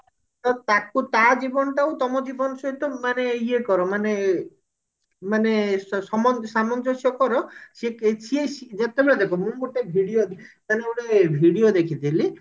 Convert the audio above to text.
ତ ତାକୁ ତା ଜୀବନଟାକୁ ତମ ଜୀବନ ସହିତ ମାନେ ଇଏ କର ମାନେ ମାନେ ସମ ସାମଞ୍ଜସ୍ୟ କର ସିଏ କିଛି ଯେତେବେଳେ ଦେଖ ମୁଁ ଗୋଟେ video ମାନେ ମୁଁ ଗୋଟେ video ଦେଖିଥିଲି